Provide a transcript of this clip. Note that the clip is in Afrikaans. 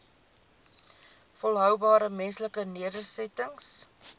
volhoubare menslike nedersettings